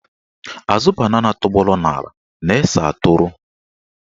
Azụ banana tọgbọrọ n'ala na-ese atụrụ.